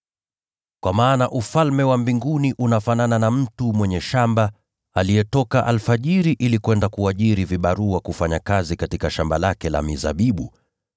“Kwa maana Ufalme wa Mbinguni unafanana na mtu mwenye shamba aliyetoka alfajiri ili kwenda kuajiri vibarua kufanya kazi katika shamba lake la mizabibu.